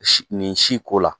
nin si ko la